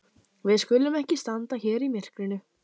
Við skulum ekki standa hér í myrkrinu.